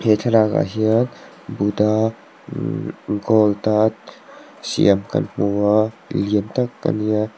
he thlalak ah hian buddha ihh gold a siam kan hmu a lian tak a ni a.